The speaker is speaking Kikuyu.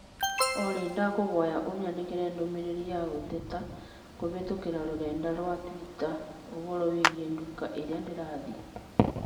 Olly, ndakũhoya ũnyandĩkĩre ndũmĩrĩri ya gũteta kũhĩtũkĩra rũrenda rũa tũita ũhoro wĩgiĩ nduka ĩrĩa ndĩrathiĩ